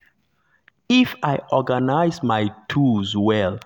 if i organize my tools well i go um fit work faster and um make better use um of my day.